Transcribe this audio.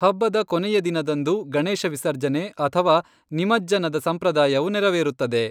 ಹಬ್ಬದ ಕೊನೆಯ ದಿನದಂದು, ಗಣೇಶ ವಿಸರ್ಜನೆ ಅಥವಾ ನಿಮಜ್ಜನದ ಸಂಪ್ರದಾಯವು ನೆರವೇರುತ್ತದೆ.